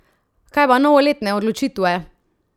Kaj pa novoletne odločitve?